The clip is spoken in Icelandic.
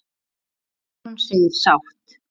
Guðrún segist sátt.